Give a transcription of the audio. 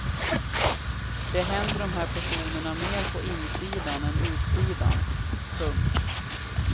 Det händer de här personerna mer på insidan än utsidan. punkt